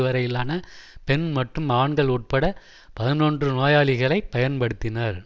வரையிலான பெண் மற்றும் ஆண்கள் உட்பட பதினொன்று நோயாளிகளை பயன்படுத்தினர்